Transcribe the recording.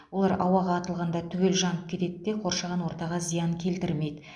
олар ауаға атылғанда түгел жанып кетеді де қоршаған ортаға зиян келтірмейді